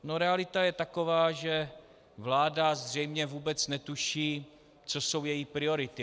No, realita je taková, že vláda zřejmě vůbec netuší, co jsou její priority.